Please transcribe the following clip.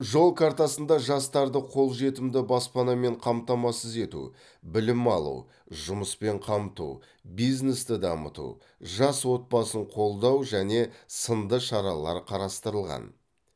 жол картасында жастарды қол жетімді баспанамен қамтамасыз ету білім алу жұмыспен қамту бизнесті дамыту жас отбасын қолдау және сынды шаралар қарастырылған